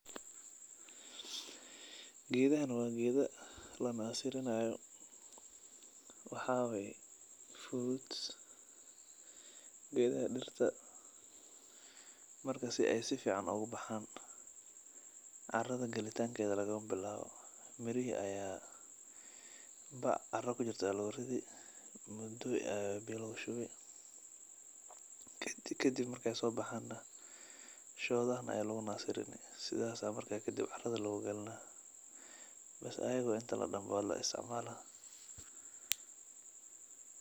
Gedahan waa geda la nasirinayo waxaa waye fruits geedaha dirta marka si ee sifican ogu bacan muda aya biya logu shubi sithas aya marka kadib caradha lo galinaya sas ayan u isticmala.